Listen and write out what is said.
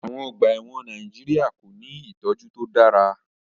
Àwon ogbà èwòn Naijiria ko ni ìtójú to dára